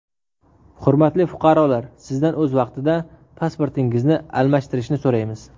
Hurmatli fuqarolar, Sizdan o‘z vaqtida pasportingizni almashtirishni so‘raymiz.